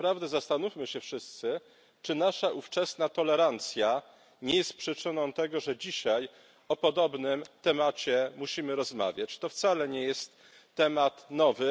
I naprawdę zastanówmy się wszyscy, czy nasza ówczesna tolerancja nie jest przyczyną tego, że dzisiaj o podobnym temacie musimy rozmawiać. To wcale nie jest temat nowy.